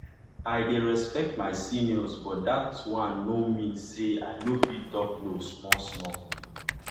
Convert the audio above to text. i de respect my seniors but dat one nor mean say i nor fit talk no small small